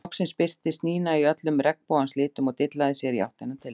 Loks birtist Nína í öllum regnbogans litum og dillaði sér í áttina til þeirra.